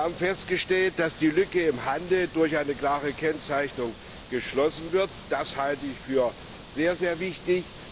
Wir haben festgestellt, dass die Lücke im Handel durch eine klare Kennzeichnung geschlossen wird. Das halte ich für sehr, sehr wichtig.